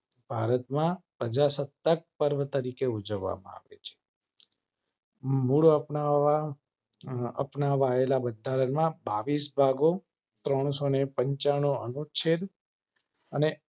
ભારત માં પ્રજાસત્તાક પર્વ તરીકે ઉજવવામાં આવે છે. મૂળ અપનાવવા અપનાવાયેલા બંધારણમાં બાવીસ ભાગો ત્રણસો ને પંચાણું અનુચ્છેદ અને